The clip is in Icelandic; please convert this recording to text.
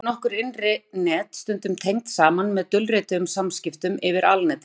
einnig eru nokkur innri net stundum tengd saman með dulrituðum samskiptum yfir alnetið